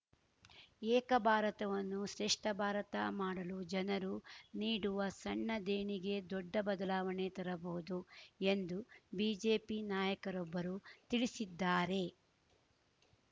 ಏಕ ಬಾರತವನ್ನು ಶ್ರೇಷ್ಠ ಬಾರತ ಮಾಡಲು ಜನರು ನೀಡುವ ಸಣ್ಣ ದೇಣಿಗೆ ದೊಡ್ಡ ಬದಲಾವಣೆ ತರಬಹುದು ಎಂದು ಬಿಜೆಪಿ ನಾಯಕರೊಬ್ಬರು ತಿಳಿಸಿದ್ದಾರೆ